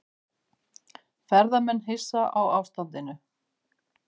Ferðamenn hissa á ástandinu